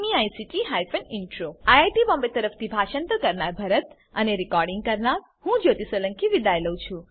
IIT Bombay તરફથી હું ભરત સોલંકી વિદાય લઉં છું